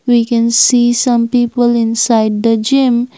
we can see some people inside the gym.